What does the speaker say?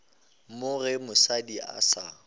mo ge mosadi a sa